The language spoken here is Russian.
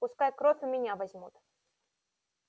пускай кровь у меня возьмут